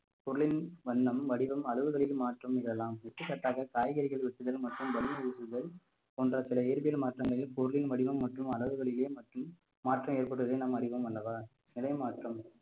பொருளின் வண்ணம் வடிவம் அளவுகளில் மாற்றம் இதெல்லாம் எடுத்துக்காட்டாக காய்கறிகள் வெட்டுதல் மற்றும் போன்ற சில இயற்பியல் மாற்றங்களில் பொருளின் வடிவம் மற்றும் அளவுகளிலேயே மற்றும் மாற்றம் ஏற்படுவதை நாம் அறிவோம் அல்லவா